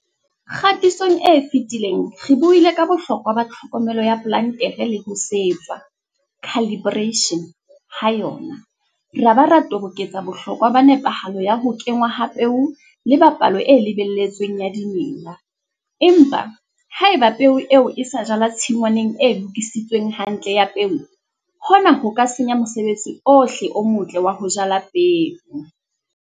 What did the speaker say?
Kgatisong e fetileng re buile ka bohlokwa ba tlhokomelo ya plantere le ho setswa, calibration, ha yona, ra ba ra toboketsa bohlokwa ba nepahalo ya ho kenngwa ha peo le ba palo e lebelletsweng ya dimela, empa. Haeba peo eo e sa jalwa tshingwaneng e lokisitsweng hantle ya peo, hona ho ka senya mosebetsi ohle o motle wa ho jala peo!